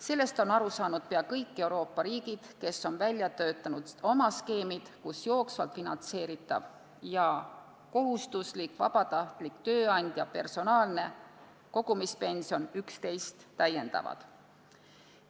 Sellest on aru saanud pea kõik Euroopa riigid, kes on välja töötanud skeemid, kus jooksvalt finantseeritav ja kohustuslik, vabatahtlik, tööandja ning personaalne kogumispension üksteist täiendavad.